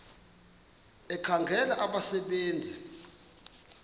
ekhangela abasebe nzi